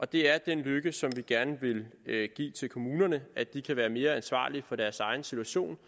det er den lykke som vi gerne vil give til kommunerne at de kan være mere ansvarlige for deres egen situation